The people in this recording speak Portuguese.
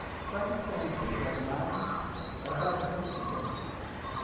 Então, a distância entre as margens era relativamente pequena.